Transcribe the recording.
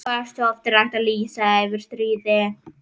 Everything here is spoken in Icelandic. Hversu oft er hægt að lýsa yfir stríði?